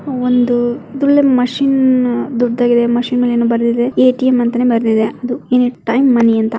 ಒಂದು ಇದು ಒಳ್ಳೆ ಮಷೀನ್ ದೊಡ್ಡದಾಗಿದೆ ಮಷೀನ್ ಮೇಲೆ ಏನೋ ಬರ್ದಿದೆ ಎ.ಟಿ.ಎಮ್ ಅಂತಾನೆ ಬರ್ದಿದೆ ಅದು ಎನಿ ಟೈಮ್ ಮನಿ ಅಂತ .